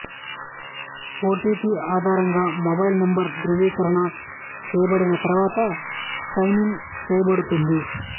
OTP ఆధారంగా mobile number ధృవీకరణ చేయబడిన తర్వాత సైన్ ఇన్ చేయబడుతుంది